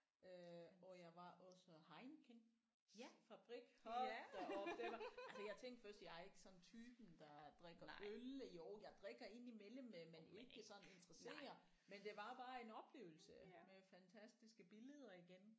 Øh og jeg var også Heinekens fabrik hold da op den altså jeg tænkte først jeg er ikke sådan typen der drikker øl jo jeg drikker ind imellem men men ikke sådan interesserer men det var bare en oplevelse med fantastiske billeder igen